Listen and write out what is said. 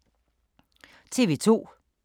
TV 2